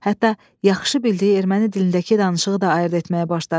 Hətta yaxşı bildiyi erməni dilindəki danışığı da ayırd etməyə başladı.